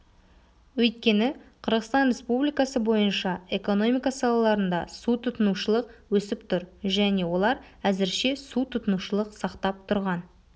өйткені қырғызстан республикасы бойынша экономика салаларында су тұтынушылық өсіп тұр және олар әзірше су тұтынушылық сақтап тұрған